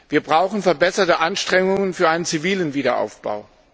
Wir brauchen verbesserte Anstrengungen für einen zivilen Wiederaufbau.